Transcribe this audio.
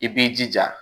I b'i jija